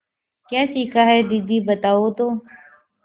क्या सीखा है दीदी बताओ तो